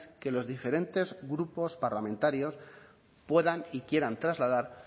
que los diferentes grupos parlamentarios puedan y quieran trasladar